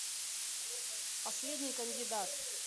последний кандидат